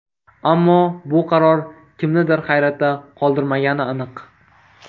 Ammo bu qaror kimnidir hayratda qoldirmagani aniq.